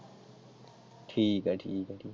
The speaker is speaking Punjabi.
ਠੀਕ ਹੈ ਠੀਕ ਹੈ।